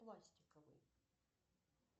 пластиковый